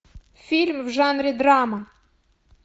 фильм в жанре драма